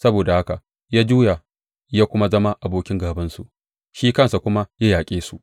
Saboda haka ya juya ya kuma zama abokin gābansu shi kansa kuma ya yaƙe su.